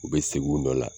U bɛ segin u nɔ la